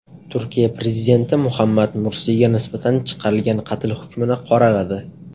Turkiya prezidenti Muhammad Mursiyga nisbatan chiqarilgan qatl hukmini qoraladi.